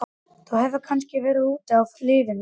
Þú hefur kannski verið úti á lífinu, ha?